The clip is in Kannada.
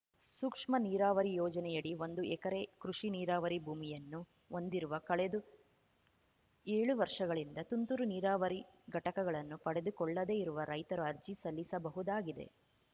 ಸೂಕ್ಷ್ಮ ನೀರಾವರಿ ಯೋಜನೆಯಡಿ ಒಂದು ಎಕರೆ ಕೃಷಿ ನೀರಾವರಿ ಭೂಮಿಯನ್ನು ಹೊಂದಿರುವ ಕಳೆದು ಏಳು ವರ್ಷಗಳಿಂದ ತುಂತುರು ನೀರಾವರಿ ಘಟಕಗಳನ್ನು ಪಡೆದುಕೊಳ್ಳದೇ ಇರುವ ರೈತರು ಅರ್ಜಿ ಸಲ್ಲಿಸಬಹುದಾಗಿದೆ